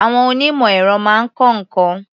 Àwọn onímọ̀-èrọ máa ń kọ́ nǹkan.